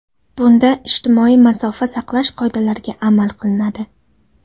Bunda ijtimoiy masofa saqlash qoidalariga amal qilinadi.